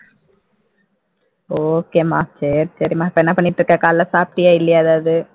okay மா சரி சரி மா இப்ப என்ன பண்ணிட்டு இருக்க காலையில சாப்டியா இல்லையா ஏதாவது